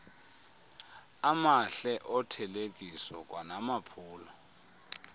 amahle othelekiso kwanamaphulo